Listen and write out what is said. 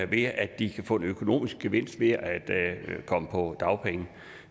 ved at de kan få en økonomisk gevinst ved at komme på dagpenge